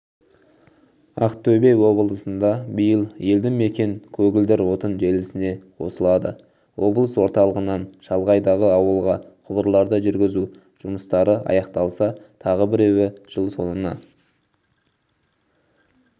ақтөбе облысында биыл елді мекен көгілдір отын желісіне қосылады облыс орталығынан шалғайдағы ауылға құбырларды жүргізу жұмыстары аяқталса тағы біреуі жыл соңына